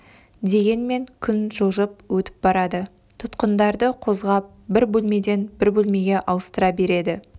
дегенмен күн жылжып өтіп барадытұтқындарды қозғап бір бөлмеден бір бөлмеге ауыстыра береді